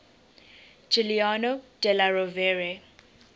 giuliano della rovere